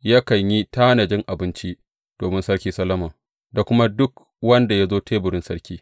yakan yi tanajin abinci domin Sarki Solomon da kuma duk wanda ya zo teburin sarki.